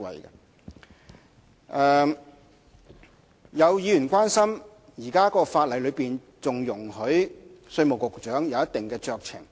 有議員關心，現時條例草案仍然容許稅務局局長享有一定酌情權。